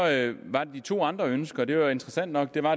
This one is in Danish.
var der de to andre ønsker som jo var interessante nok det var